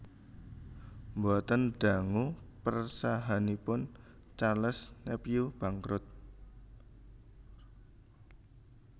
Boten dangu persahaanipun Charles Nepveu bangkrut